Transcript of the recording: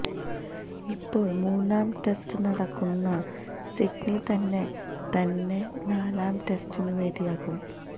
ഇപ്പോൾ മൂന്നാം ടെസ്റ്റ് നടക്കുന്ന സിഡ്നി തന്നെ തന്നെ നാലാം ടെസ്റ്റിനും വേദിയാകും